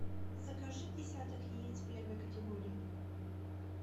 закажи десяток яиц первой категории